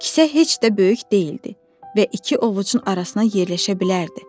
Kisə heç də böyük deyildi və iki ovucun arasına yerləşə bilərdi.